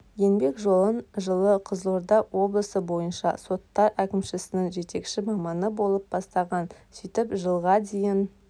еңбек жолын жылы қызылорда облысы бойынша соттар әкімшісінің жетекші маманы болып бастаған сөйтіп жылға дейін